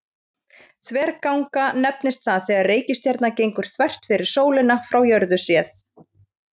þverganga nefnist það þegar reikistjarna gengur þvert fyrir sólina frá jörðu séð